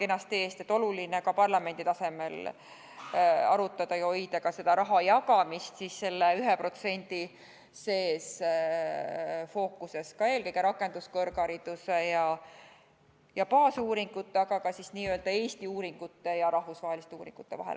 Oluline on ka seda parlamendi tasemel arutada ja hoida rahajagamine 1% fookuses, eelkõige rakenduskõrghariduse ja baasuuringute, aga ka Eesti ja rahvusvaheliste uuringute vahel.